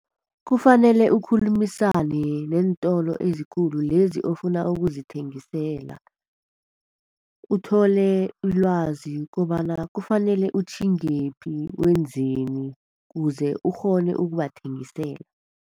Kufanele ukhulumisane neentolo ezikhulu, lezi ofuna ukuzithengisela. Uthole ilwazi kobana kufanele utjhingephi, wenzeni kuze ukghone ukubathengisela.